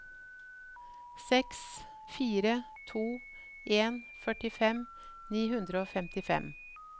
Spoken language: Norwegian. seks fire to en førtifem ni hundre og femtifem